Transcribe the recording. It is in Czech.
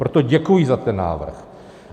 Proto děkuji za ten návrh.